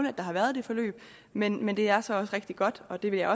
at der har været det forløb men men det er så også rigtig godt og det vil jeg